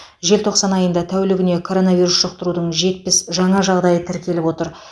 желтоқсан айында тәулігіне коронавирус жұқтырудың жетпіс жаңа жағдайы тіркеліп отыр